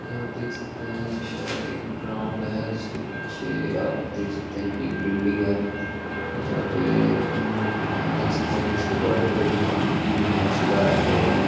यह आप देख सकते हैं ये शायद एक ग्राउंड है जिसके पीछे आप देख सकते हैं कि एक बिल्डिग है यहां पे म आप देख सकते हैं कि इसके बार्डर पे घा घास उगाया है लोगों ने।